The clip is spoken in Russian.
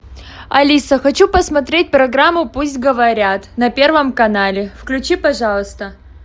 алиса хочу посмотреть программу пусть говорят на первом канале включи пожалуйста